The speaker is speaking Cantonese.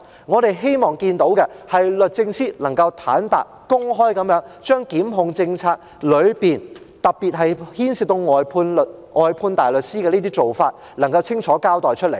我們希望看到的，是律政司坦白、公開，將檢控政策中，特別是牽涉到外判大律師的做法，清楚交代。